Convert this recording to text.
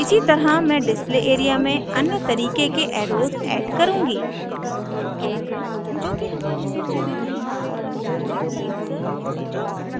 इसी तरह मैं display area में अन्य तरीके के एर्रोस add करुँगी